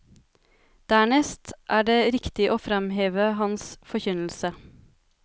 Dernest er det riktig å fremheve hans forkynnelse.